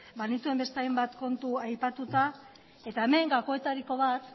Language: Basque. banituen beste hainbat kontu aipatuta eta hemen gakoetariko bat